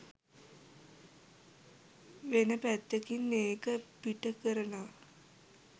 වෙන පැත්තකින් ඒක පිට කරනව